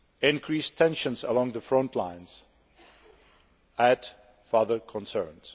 Increased tensions along the front lines add further concerns.